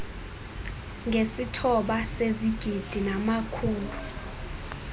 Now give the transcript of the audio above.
ngesithoba sezigidi namakhulu